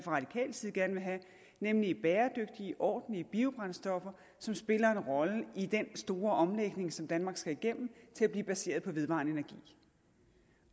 gerne vil have nemlig ordentlige bæredygtige biobrændstoffer som spiller en rolle i den store omlægning som danmark skal igennem til at blive baseret på vedvarende energi